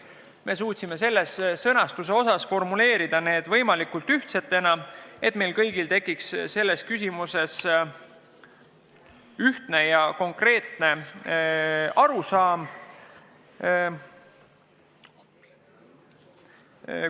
Me püüdsime need formuleerida võimalikult ühetähenduslikena, et meil kõigil tekiks selles küsimuses ühtne ja konkreetne arusaam.